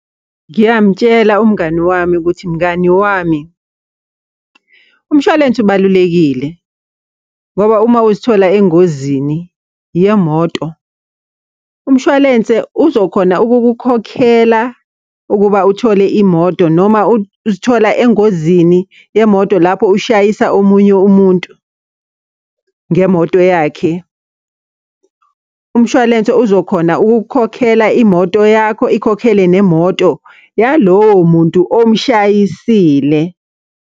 Ngiyamutshela umngani wami ukuthi, mngani wami, umshwalense ubalulekile. Ngoba uma uzithola engozini yemoto, umshwalense uzokhona ukukukhokhela ukuba uthole imoto noma uzithola engozini yemoto lapho ushayisa omunye umuntu ngemoto yakhe. Umshwalense uzokhona ukukukhokhela imoto yakho, ikhokhele nemoto yalowo muntu omshayisile.